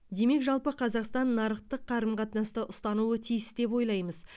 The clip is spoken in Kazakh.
демек жалпы қазақстан нарықтық қарым қатынасты ұстануы тиіс деп ойлаймыз